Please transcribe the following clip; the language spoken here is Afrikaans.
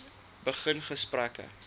begin gesprekke